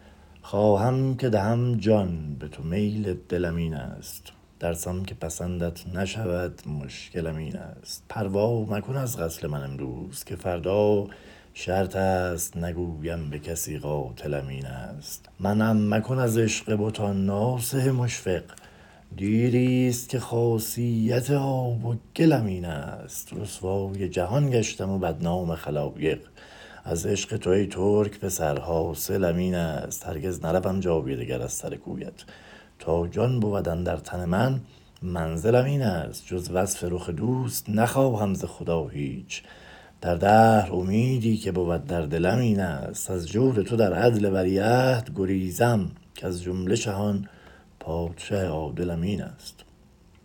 خواهم که دهم جان به تو میل دلم این ست ترسم که پسندت نشود مشکلم این ست پروا مکن از قتل من امروز که فردا شرط ست نگویم به کسی قاتلم این ست منعم مکن از عشق بتان ناصح مشفق دیری ست که خاصیت آب و گلم این ست رسوای جهان گشتم و بدنام خلایق از عشق تو ای ترک پسر حاصلم این ست هرگز نروم جای دگر از سر کویت تا جان بود اندر تن من منزلم این ست جز وصل رخ دوست نخواهم ز خدا هیچ در دهر امیدی که بود در دلم این ست از جود تو در عدل ولیعهد گریزم کز جمله شهان پادشه عادلم این ست